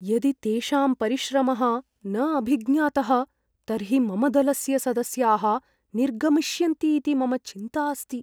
यदि तेषां परिश्रमः न अभिज्ञातः तर्हि मम दलस्य सदस्याः निर्गमिष्यन्तीति मम चिन्ता अस्ति।